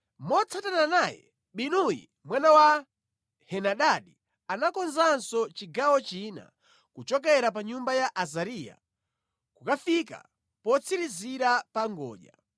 Motsatana naye, Binuyi mwana wa Henadadi anakonzanso chigawo china, kuchokera pa nyumba ya Azariya kukafika potsirizira pa ngodya.